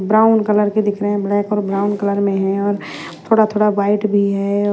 Brown colour के दिख रहे हैं ब्लैक और ब्राउन कलर में है और थोड़ा-थोड़ा वाइट भी है।